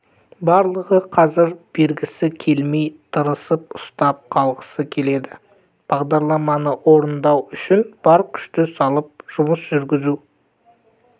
барлығы қазір бергісі келмей тырысып ұстап қалғысы келеді бағдарламаны орындау үшін бар күшті салып жұмыс жүргізу